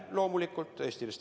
Loomulikult!